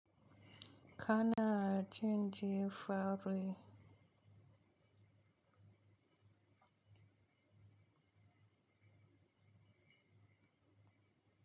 Kana jin ji fari.